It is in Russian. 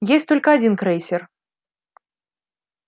есть только один крейсер